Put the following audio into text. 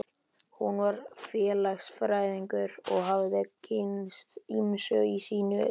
Hún var félagsfræðingur og hafði kynnst ýmsu í sínu starfi.